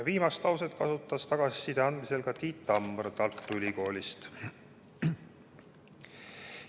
Viimast lauset kasutas tagasiside andmisel ka Tiit Tammar Tartu Ülikoolist.